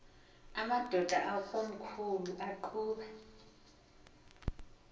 amadod akomkhul eqhub